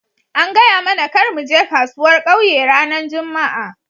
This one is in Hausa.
An gaya mana kar mu je kasuwar ƙauye ranan jumma'a.